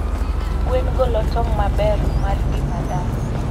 Gwen golo tong' maber mar ngima dhano.